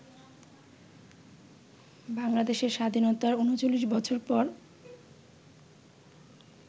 বাংলাদেশের স্বাধীনতার ৩৯ বছর পর